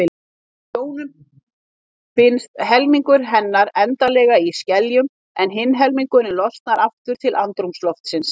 Í sjónum binst helmingur hennar endanlega í skeljum en hinn helmingurinn losnar aftur til andrúmsloftsins.